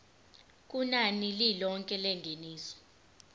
kunani lilonke lengeniso